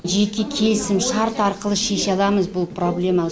жеке келісімшарт арқылы шеше аламыз бұл проблема